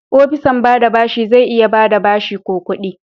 opisan ba da bashi zai iya ba da bashi ko kudi.